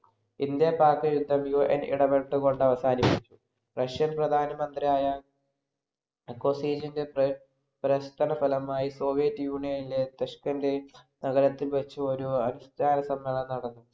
India Pak യുദ്ധത്തിൽ UN എടപ്പെട്ടു കൊണ്ട് അവസാനിച്ചു. റഷ്യൻ പ്രധാനമന്ത്രിയായ മുക്കോസീനിന്‍റെ പ്രയ പ്രവര്‍ത്തന ഫലമായി soviet union ഇലെ തഷ്കന്‍റെന്‍ നഗരത്തിൽ വെച്ച് ഒരു അവിഷ്‌ക്കാരസമ്മേളനം നടന്നു.